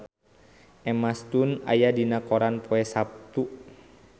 Emma Stone aya dina koran poe Saptu